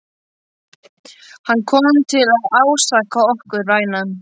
Hann kom til að ásaka okkur, vænan.